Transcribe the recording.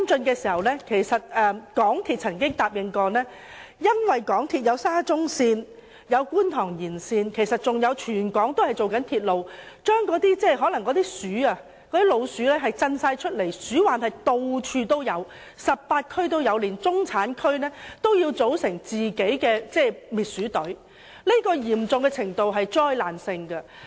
由於香港鐵路有限公司進行沙田至中環線、觀塘線延線，以及全港各地區其他多項鐵路工程，導致老鼠空群而出 ，18 區處處都有鼠患，連中產區也要自組滅鼠隊，這種情況是災難性的。